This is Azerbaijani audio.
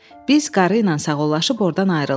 Biz qarıyla sağollaşıb ordan ayrıldıq.